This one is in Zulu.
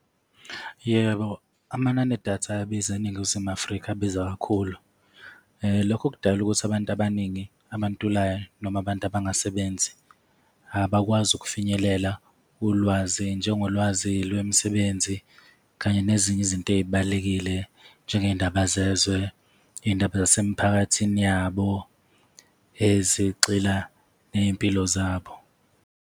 Yebo, amanani edatha ayabiza eNingizimu Afrika, abiza kakhulu. Lokho kudala ukuthi abantu abaningi, abantulayo noma abantu abangasebenzi abakwazi ukufinyelela ulwazi njengolwazi lwemisebenzi kanye nezinye izinto ey'balulekile njengezindaba zezwe, iy'ndaba zasemiphakathini yabo ezigxila ney'mpilo zabo.